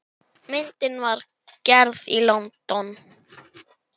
Myndin var gerð í London.